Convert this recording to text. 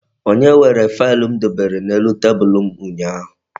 Onye were faịlụ m dobere n'elu tebulu m ụnyaahụ?